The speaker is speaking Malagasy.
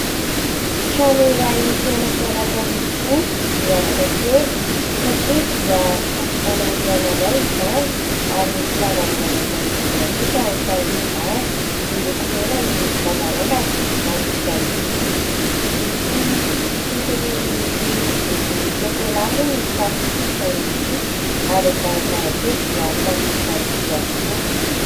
Trano iray tena tsara tarehy tokoa, miavaka kely satria dia ahitana rihana iray izany ary misy lavarangana manodidina kosa ao amin'ny farany ambany. Miloko mena ny lavarangana ary vita amin'ny vy. Misy sisiny miloko volon-tsokolà moa ny tafon'ity trano ity ary ny varavarankely dia samy vita amin'ny vy avokoa.